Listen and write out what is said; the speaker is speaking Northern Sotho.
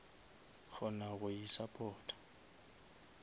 kgona go isupporta